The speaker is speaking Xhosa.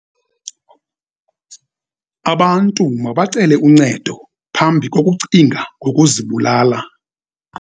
Abantu mabacele uncedo phambi kokucinga ngokuzibulala.